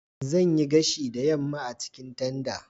Zan yi gashi da yamma a cikin tanda.